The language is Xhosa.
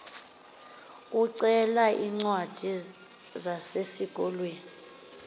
ucele iincwadi zesikolo